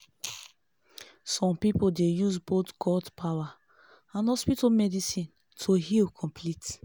some pipo dey use both god-power and hospital medicine to heal complete.